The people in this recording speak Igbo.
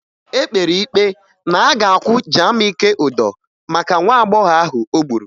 E kpere ikpe na a ga-akwụ Jamike ụdọ maka nwa agbọghọ ahụ o gburu